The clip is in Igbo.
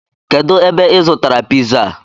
Kedu ebe I zụtara piza a?